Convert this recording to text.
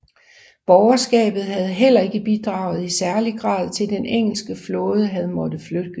Borgerskabet havde heller ikke bidraget i særlig grad til at den engelske flåde havde måttet flygte